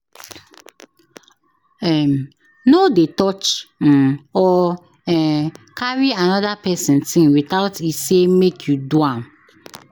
um No dey touch um or um carry another person thing without e say make you do am.